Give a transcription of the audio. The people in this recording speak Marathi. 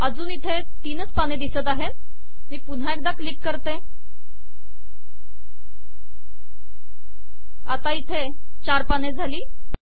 अजून इथे तीनच दिसत आहेत मी पुन्हा एकदा क्लिक करते आता इथे चार झाली